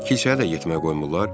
Kilsəyə də getməyə qoymurlar?